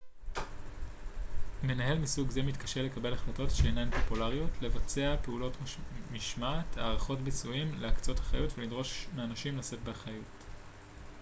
מנהל מסוג זה מתקשה לקבל החלטות שאינן פופולריות לבצע פעולות משמעת הערכות ביצועים להקצות אחריות ולדרוש מאנשים לשאת באחריות